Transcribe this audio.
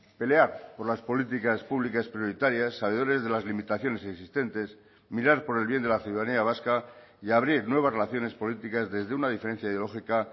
pelear por las políticas públicas prioritarias sabedores de las limitaciones existentes mirar por el bien de la ciudadanía vasca y abrir nuevas relaciones políticas desde una diferencia ideológica